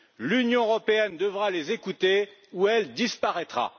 L'Union européenne devra les écouter ou elle disparaîtra.